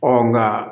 nka